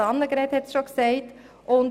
Grossrätin Hebeisen hat es schon erwähnt.